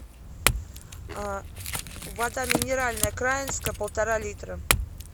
вода минеральная краинская полтора литра